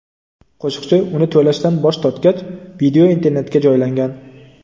Qo‘shiqchi uni to‘lashdan bosh tortgach, video internetga joylangan.